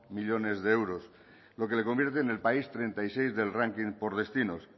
millónes de euros lo que le convierte en el país treinta y seis del ranking por destinos